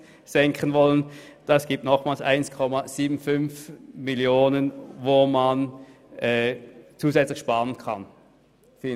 Mit unserem Antrag könnten 1,75 Mio. Franken zusätzlich gespart werden.